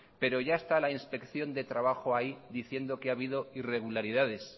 pero ya está la inspección de trabajo ahí diciendo que ha habido irregularidades